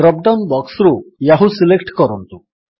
drop down ବକ୍ସରୁ Yahoo select କରନ୍ତୁ